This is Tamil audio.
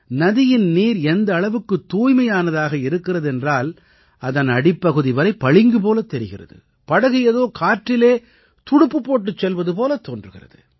நதியின் நீர் எந்த அளவுக்குத் தூய்மையானதாக இருக்கிறது என்றால் அதன் அடிப்பகுதி வரை பளிங்கு போலத் தெரிகிறது படகு ஏதோ காற்றிலே துடுப்பு போட்டுச் செல்வது போலத் தோன்றுகிறது